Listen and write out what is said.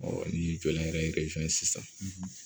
ni jɔlan yɛrɛ ye sisan